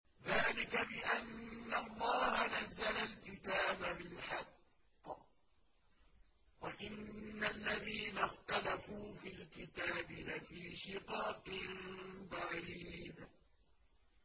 ذَٰلِكَ بِأَنَّ اللَّهَ نَزَّلَ الْكِتَابَ بِالْحَقِّ ۗ وَإِنَّ الَّذِينَ اخْتَلَفُوا فِي الْكِتَابِ لَفِي شِقَاقٍ بَعِيدٍ